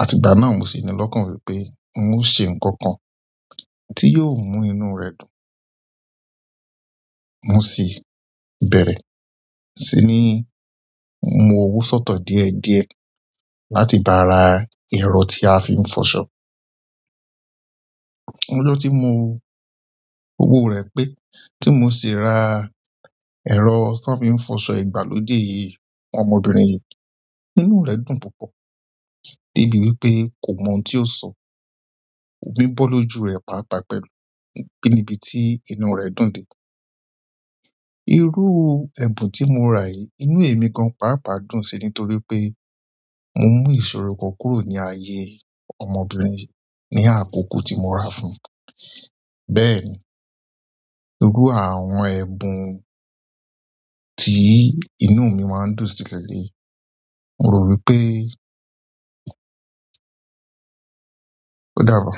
Àti ìgbà náà mo sì nílọ́kàn wípé un o se nǹkan kan tí yóò mú inú rẹ̀ dùn. Mo sì bẹ̀rẹ̀, ṣí ní mu owó sọ́tọ̀ díẹ̀ díẹ̀ láti bá ra ẹ̀rọ tí a fi ń fọṣọ. Ọjọ́ tí mo owò rẹ̀ pé tí mo sì ra ẹ̀rọ tí wọ́n fi ń fọṣọ ìgbàlódé yìí, ọmọbìnrin yìí inú rẹ̀ dùn púpọ̀ dé bí wípé kò mọ ohun tí ó sọ. Òmi bọ́ lójú rẹ̀ pàápàá pẹ̀lú níbi tí inú rẹ̀ dùn dé. Irú ẹ̀bùn tí mo rà yìí inú èmi gan pàápàá dùn sí nítorí pé mo mú ìṣòro kan kúrò ní ayé. Ọmọbìnrin yìí ni akoko ti mo ra fún bẹ́ẹ̀ ni irú àwọn ẹ̀bùn tí inú mi máa ń dùn sí lelei. Mo ro wípé. O dabọ.